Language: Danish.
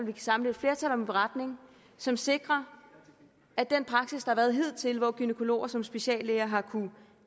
kan samle et flertal om en beretning som sikrer at den praksis der har været hidtil hvor gynækologer som speciallæger har kunnet